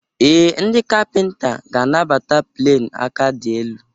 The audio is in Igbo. Ee, ndị kapịnta ga-anabata pleni aka dị elu.